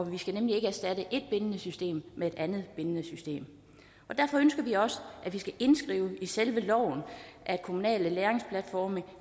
vi skal nemlig ikke erstatte et bindende system med et andet bindende system derfor ønsker vi også at det skal indskrives i selve loven at kommunale læringsplatforme